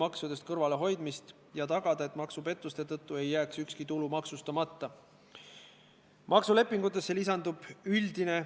Algsete muudatuste, nende, mis puudutavad meresõiduohutusalaseid sätteid, jõustumine on planeeritud 21. detsembrile 2019.